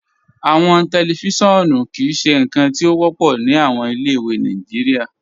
Awọn tẹlifíṣọ̀nù kìí ṣe nkan ti o wọpọ ni awọn ilẹ̀-ìwé Nàìjíríà.